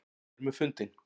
Ánægður með fundinn